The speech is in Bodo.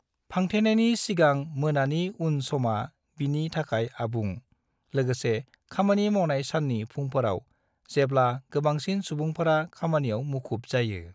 फांथेनायनि सिगां मोनानि उन समा बिनि थाखाय आबुं, लोगोसे खामानि मावनाय साननि फुंफोराव जेब्ला गोबांसिन सुबुंफोरा खामानियाव मुखुब जायो।